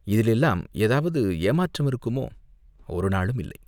இதிலெல்லாம் ஏதாவது ஏமாற்றம் இருக்குமோ, ஒருநாளும் இல்லை.